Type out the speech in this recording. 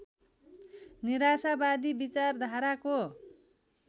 निराशावादी विचारधाराको